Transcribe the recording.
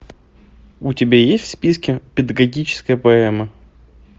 у тебя есть в списке педагогическая поэма